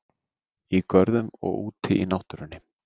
Í görðum og úti í náttúrunni.